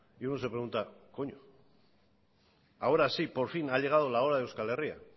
y uno se pregunta coño ahora sí por fin ha llegado la hora de euskal herria